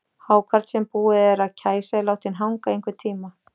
Hákarl sem búið er að kæsa er látinn hanga í einhvern tíma.